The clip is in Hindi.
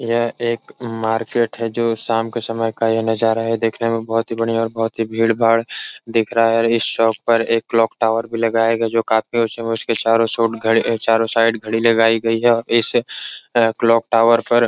यह एक मार्किट है जो शाम के समय का नज़ारा देखने मे बोहोत ही बढियां और बोहोत ही भीड़ भाड़ दिख रहा हैं और इस शॉप पर क्लॉक टावर भी लगाया गया है जो काफी चारो साइड घड़ी लगाई गयी हैं आ और इस क्लॉक टावर पर --